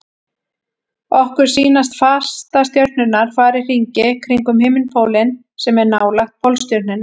Okkur sýnast fastastjörnurnar fara í hringi kringum himinpólinn sem er nálægt Pólstjörnunni.